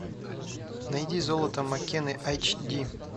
найди золото маккены эйч ди